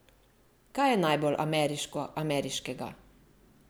Kaj je najbolj ameriško ameriškega?